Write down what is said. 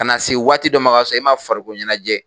Ka na se waati dɔ ma k'a sɔrɔ e ma farikolo ɲɛnajɛ